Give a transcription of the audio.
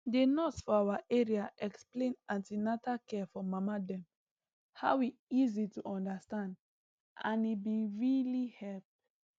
the nurse for our area explain an ten atal care for mama dem how e easy to understand and e been really help